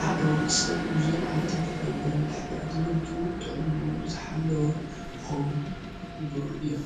ሓደ ወዲሰብ እዞም ዓይነታት ፍራምረ እንድሕር ደኣ ተመጊቡ ጥዕንኡ ዝተሓለወ ክኸዉን ዝገብሩ እዮም።